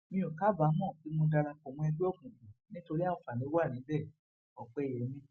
mi ò kábàámọ pé mo darapọ mọ ẹgbẹ òkùnkùn nítorí àǹfààní wa níbẹ ọpẹyẹmí